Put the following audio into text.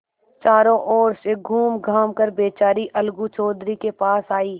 चारों ओर से घूमघाम कर बेचारी अलगू चौधरी के पास आयी